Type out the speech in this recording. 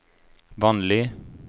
vanlig